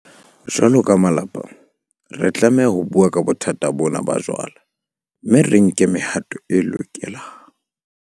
Jwalo ka malapa, re tlameha ho bua ka bothata bona ba jwala mme re nke le mehato e lokelang.